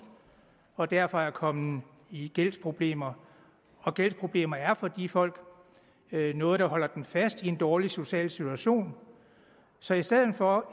og derfor er kommet i gældsproblemer og gældsproblemer er for de folk noget der holder dem fast i en dårlig social situation så i stedet for